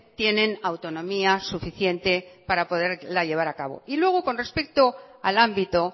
tienen autonomía suficiente para poderla llevar a cabo y luego con respecto al ámbito